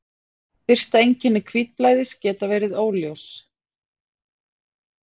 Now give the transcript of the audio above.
Fyrsta einkenni hvítblæðis geta verið óljós.